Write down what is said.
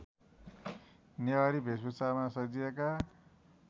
नेवारी भेषभुषामा सजिएका